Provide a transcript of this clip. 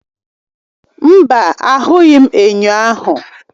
Mba, ahụghị m enyo ahụ.